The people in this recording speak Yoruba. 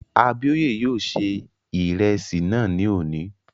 Abíóyè yóò ṣe ìrẹsì náà ní òní